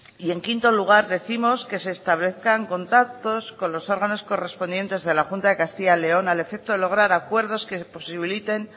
y en quinto lugar décimos que se establezcan contactos con los órganos correspondientes de la junta de castilla y león al efecto de lograr acuerdos que posibiliten